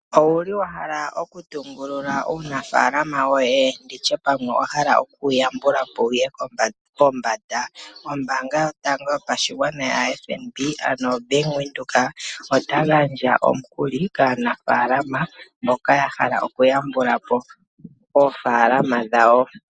Owu li wa hala okutungulula uunafaalama woye, ano wa hala oku wu yambula po wu ye pombanda? Ombaanga yotango yopashigwana yaFNB, otayi gandja omukuli kaanafaalama mboka ya hala okuyambula po oofaalama dhawo.